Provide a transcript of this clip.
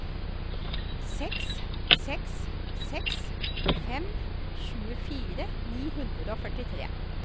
seks seks seks fem tjuefire ni hundre og førtitre